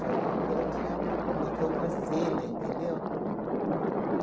De homem, então, tinha uma contracena, entendeu?